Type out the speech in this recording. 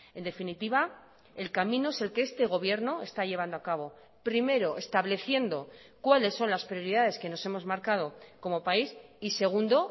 en definitiva el camino es el que este gobierno está llevando a cabo primero estableciendo cuáles son las prioridades que nos hemos marcado como país y segundo